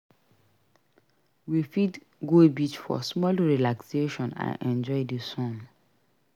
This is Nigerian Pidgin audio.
We fit go beach for small relaxation and enjoy the sun.